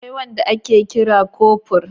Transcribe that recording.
Akwai wanda ake kira kofur.